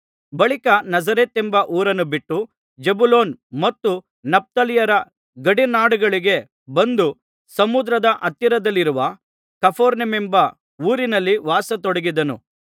ಬಳಿಕ ನಜರೇತೆಂಬ ಊರನ್ನು ಬಿಟ್ಟು ಜೆಬುಲೋನ್‌ ಮತ್ತು ನಫ್ತಾಲಿಯರ ಗಡಿ ನಾಡುಗಳಿಗೆ ಬಂದು ಸಮುದ್ರದ ಹತ್ತಿರದಲ್ಲಿರುವ ಕಪೆರ್ನೌಮೆಂಬ ಊರಿನಲ್ಲಿ ವಾಸಿಸತೊಡಗಿದನು